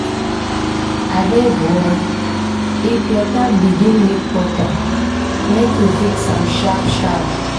Abeg o, if your tap begin leak water make you fix am sharp-sharp.